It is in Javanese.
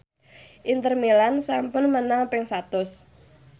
Inter Milan sampun menang ping satus